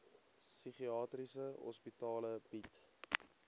psigiatriese hospitale bied